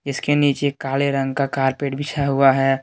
इसके नीचे काले रंग का कारपेट बिछाया हुआ है।